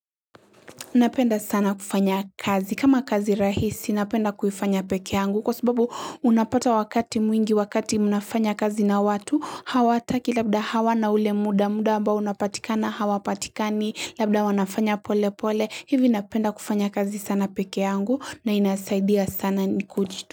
Unapenda sana kufanya kazi. Kama kazi rahisi, napenda kufanya peke yangu. Kwa sababu unapata wakati mwingi, wakati mnafanya kazi na watu, hawataki labda hawa na ule muda, muda ambao unapatikana, hawa patikani, labda wanafanya pole pole. Hivi napenda kufanya kazi sana peke yangu na inasaidia sana ni kujitu.